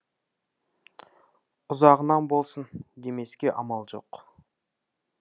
ұзағынан болсын демеске амал жоқ